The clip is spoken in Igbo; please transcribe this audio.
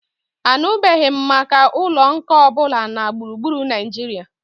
Anụbeghị m maka ụlọ nkà ọ bụla na gburugburu Naijiria